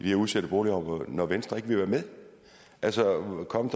her udsatte boligområder når venstre ikke ville være med altså kom